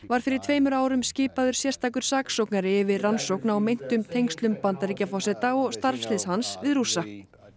var fyrir tveimur árum skipaður sérstakur saksóknari yfir rannsókn á meintum tengslum Bandaríkjaforseta og starfsliðs hans við Rússa